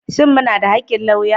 Shin muna da haƙƙin lauya?